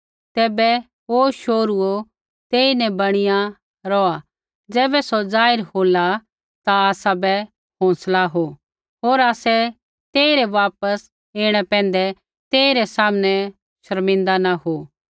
तैबै हे शोहरूओ तेईन बणिया रौहा ज़ैबै सौ जाहिर होला ता आसाबै हौंसला हो होर आसै तेई रै वापस ऐणै पैंधै तेइरै सामणे शर्मिंदा न हो